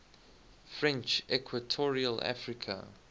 french equatorial africa